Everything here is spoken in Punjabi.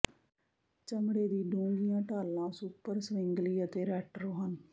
ਚਮੜੇ ਦੀ ਡੂੰਘੀਆਂ ਢਾਲਾਂ ਸੁਪਰ ਸਵਿਂਗਲੀ ਅਤੇ ਰੈਟਰੋ ਹਨ